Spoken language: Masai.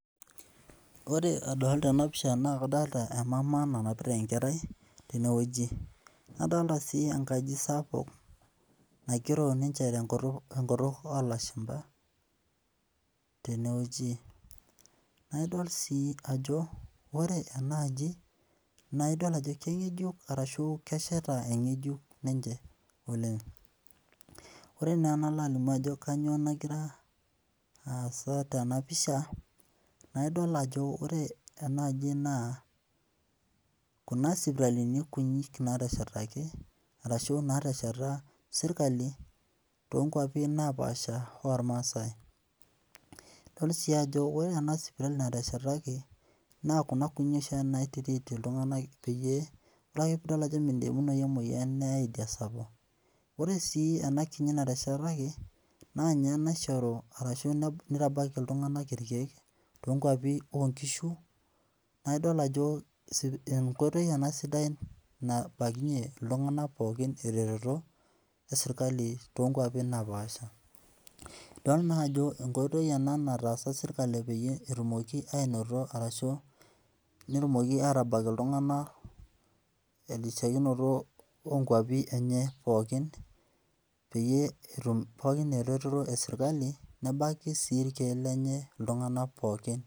Ore adolita ena pisha naa kadolita emama nanapita enkerai tenewueji. Nadolita sii enkaji sapuk naigero ninye tenkutuk oolashumpa tenewueji. Naa idol sii ajo ore enaaji naa idol ajo keng'ejuk arashu kesheta eng'ejuk ninche oleng. Ore naa enalo alimu ajo kanyoo nagira aasa tena pisha naa idol ajo ore ena aji naa kuna sipitalini kunyinyi naateshetaki arashu naatesheta serikali toonkwapi naapaasha ormaasai. Idol sii ajo ore ena sipitali nateshetaki naa kuni kunyinyi oshiake nai treat iltung'anak peyie ore ake piidol ajo midimunoyu emoyian neyai idia sapuk. Ore sii ena kinyi nateshetaki naa ninye naishoru arashu nitabaiki iltung'anak irkiek tonkwapi oo nkishu. Naidol ajo enkoitoi ena sidai nabaikinye iltung'anak pookin eretoto e serikali toonkwapi naapaasha. Idol naa ajo enkoitoi ena nataasa serikali peyie etumoki ainoto arashu netumoki aatabak iltung'anak terisiokiniloto oo nkwapi enye pookin peyie etum pookin eretoto e serikali nebaki sii irkiek lenye iltung'anak pookin